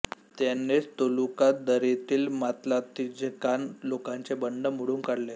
त्यानेच तोलुका दरीतील मात्लात्झिन्कान लोकांचे बंड मोडून काढले